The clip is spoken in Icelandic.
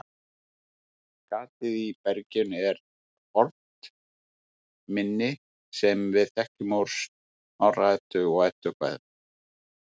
Gatið í berginu er fornt minni sem við þekkjum úr Snorra-Eddu og Eddukvæðum.